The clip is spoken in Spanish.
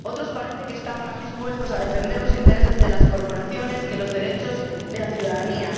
Parece que otros están más dispuestos a defender los intereses de las corporaciones que los derechos de la ciudadanía.